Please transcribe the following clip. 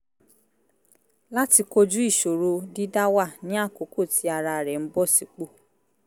láti kojú ìṣòro dídá wà ní àkókò tí ara rẹ̀ ń bọ̀ sí pò